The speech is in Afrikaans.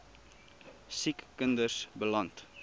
siek kinders beland